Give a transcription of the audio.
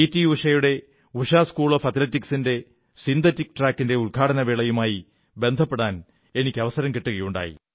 ഉഷയുടെ Usha school of അത്ലെറ്റിക്സിന്റെ synthetic ട്രാക്കിന്റെ ഉദ്ഘാടനവേളയുമായി ബന്ധപ്പെടാൻ അവസരം കിട്ടുകയുണ്ടായി